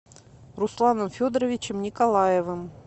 русланом федоровичем николаевым